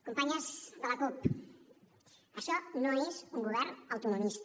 companyes de la cup això no és un govern autonomista